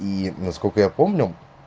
и насколько я помню